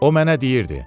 O mənə deyirdi: